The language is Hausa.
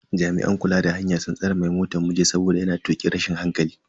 Jami'an kula da hanya sun tsare mai motan mu jita saboda yana tukin rashin hankali.